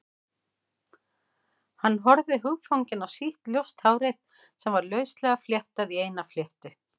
Hann horfði hugfanginn á sítt, ljóst hárið sem var lauslega fléttað í eina langa fléttu.